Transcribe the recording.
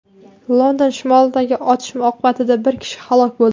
London shimolidagi otishma oqibatida bir kishi halok bo‘ldi.